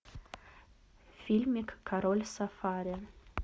фильмик король сафари